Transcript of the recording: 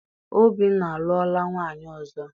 Obinna alụọla nwaanyị ọzọ.